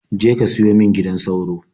Je ka siyo min gidan sauro.